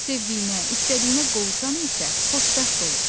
Sevdiyinə, istədiyinə qovuşan isə xoşbəxt olur.